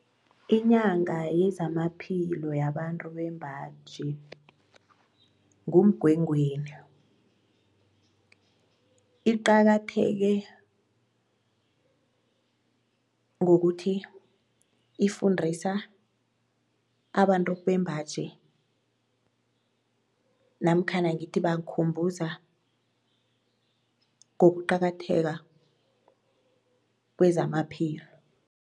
Inyanga yezamaphilo yabantu bembaji nguMgwengweni. Iqakatheke ngokuthi ifundisa abantu bembaji namkhana ngithi ibakhumbuza ngokuqakatheka kwezamaphilo.